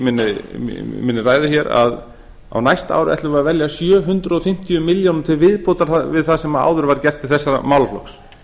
minni ræðu hér að á næsta ári ætlum við að verja sjö hundruð fimmtíu milljónum til viðbótar við það sem áður var gert til þessa málaflokks